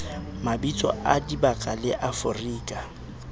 mabitso a dibaka la afrika